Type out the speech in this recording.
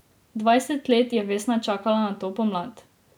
Dvajset let je Vesna čakala na to pomlad.